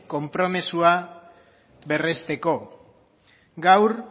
konpromisoa berresteko gaur